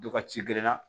Dɔ ka ci gerenna